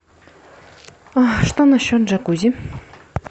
что насчет джакузи